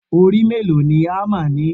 Orí mélòó ni hámà ni?